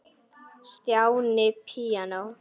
Stjáni píanó